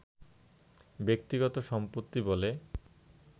ব্যক্তিগত সম্পত্তি বলে